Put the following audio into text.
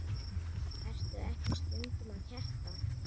Ertu ekki stundum að keppa?